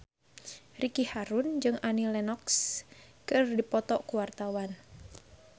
Ricky Harun jeung Annie Lenox keur dipoto ku wartawan